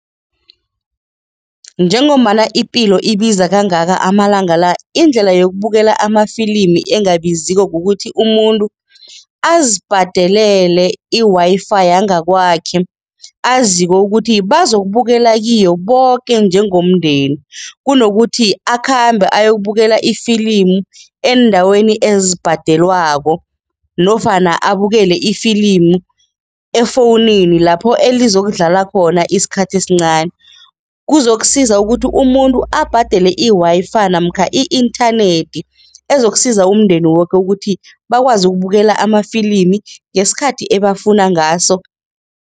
Njengombana ipilo ibiza kangaka amalanga la, indlela yokubukela amafilimi engabiziko kukuthi umuntu azibhadelele i-Wi-Fi yangakwakhe aziko ukuthi bazokubukela kiyo boke njengomndeni kunokuthi akhambe ayokubukela ifilimu eendaweni ezibhadelwako nofana abukele ifilimu efowunini lapho elizokudlala khona isikhathi esincani. Kuzokusiza ukuthi umuntu abhadele i-Wi-Fi namkha i-inthanethi ezokusiza umndeni woke ukuthi bakwazi ukubukela amafilimi ngesikhathi ebafuna ngaso.